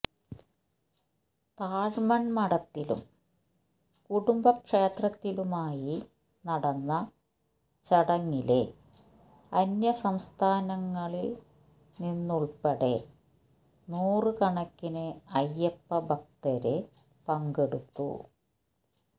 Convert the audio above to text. താഴമണ് മഠത്തിലും കുടുംബക്ഷേത്രത്തിലുമായി നടന്ന ചടങ്ങില് അന്യസംസ്ഥാനങ്ങളില് നിന്നുള്പ്പെടെ നൂറുകണക്കിന് അയ്യപ്പ ഭക്തര് പങ്കെടുത്തു